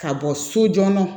Ka bɔ so joona